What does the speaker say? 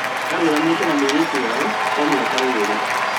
Arũgamĩte na mũiritu wao kwa mĩaka ĩrĩ